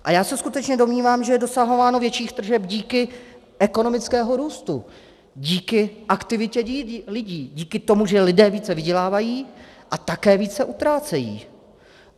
A já se skutečně domnívám, že je dosahováno větších tržeb díky ekonomickému růstu, díky aktivitě lidí, díky tomu, že lidé více vydělávají a také více utrácejí.